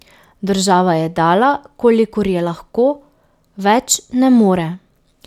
Država je dala, kolikor je lahko, več ne more.